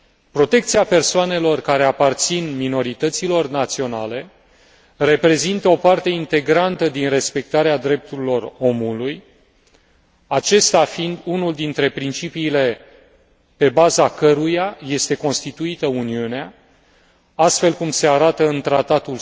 Protecția persoanelor care aparțin minorităților naționale reprezintă o parte integrantă din respectarea drepturilor omului, acesta fiind unul dintre principiile pe baza căruia este constituită Uniunea, astfel cum se arată